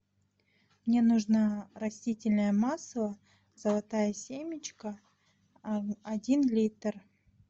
мне нужно растительное масло золотая семечка один литр